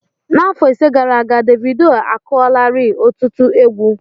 N'afọ ise gara aga, Davidoo akụọlarii ọtụtụ égwu